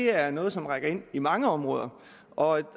er noget som rækker ind i mange områder og